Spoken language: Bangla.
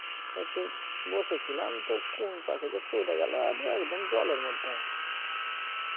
বসেছিলাম তো কোন ফাকে যে পড়ে গেল একদম জলের মধ্যে